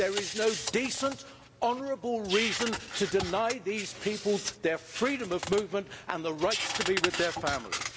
There is no decent honourable reason to deny these people their freedom of movement and the right to be with their families.